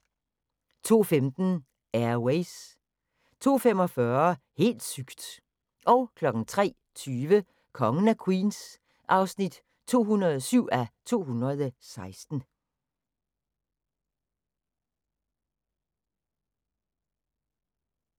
02:15: Air Ways 02:45: Helt sygt! 03:20: Kongen af Queens (207:216)